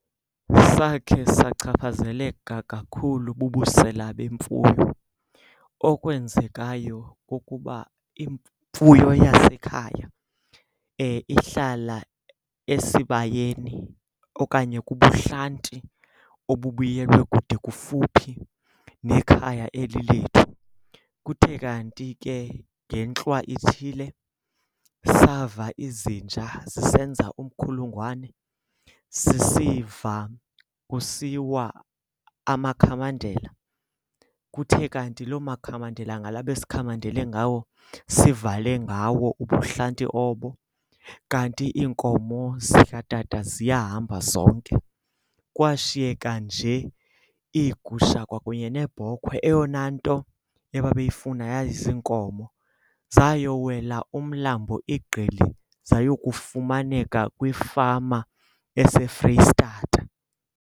Sakhe sachaphazeleka kakhulu bubusela bemfuyo. Okwenzekayo kukuba imfuyo yasekhaya ihlala esibayeni okanye ke kubuhlanti obubiyelwe kude kufuphi nekhaya eli lethu. Kuthe kanti ke ngentlwa ithile sava izinja zisenza umkhulugwane, sisiva kusiwa amakhamandela kuthe kanti loo makhandlela ngala besikhamandele ngawo, sivale ngawo ubuhlanti obo. Kanti iinkomo zikatata ziyahamba zonke. Kwashiyeka nje iigusha kwakunye neebhokhwe, eyona nto ebabeyifuna yayiziinkomo. Zayowela umlambo iGqili zayokufumaneka kwifama eseFreyistata.